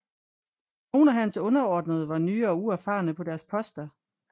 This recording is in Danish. Nogle af hans underordnede var nye og uerfarne på deres poster